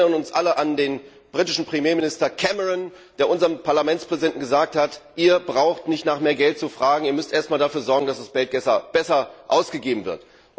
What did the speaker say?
Wir erinnern uns alle an den britischen Premierminister Cameron, der unserem Parlamentspräsidenten gesagt hat, ihr braucht nicht nach mehr Geld zu fragen, ihr müsst erst einmal dafür sorgen, dass das Geld besser ausgegeben wird.